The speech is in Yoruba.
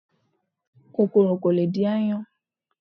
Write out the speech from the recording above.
kòkòrò ko le di aáyán.